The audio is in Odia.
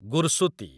ଗୁର୍‌ସୁତି